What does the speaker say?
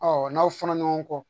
n'aw fɔra ɲɔgɔn kɔ